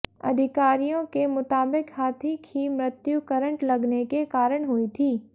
अधिकारियों के मुताबिक हाथी की मृत्यु करंट लगने के कारण हुई थी